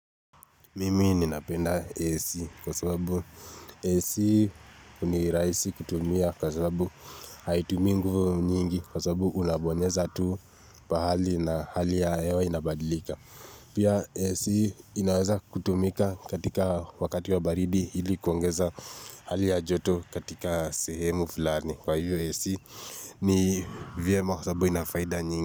Mimi ninapenda AC kwa sababu AC ni rahisi kutumia kwa sababu haitumii nguvu nyingi kwasababu unabonyeza tuu pahali na hali ya hewa inabadilika. Pia AC inaweza kutumika katika wakati wa baridi hili kuongeza hali ya joto katika sehemu fulani. Kwa hivyo AC ni vyema kwa sababu ina faida nyingi.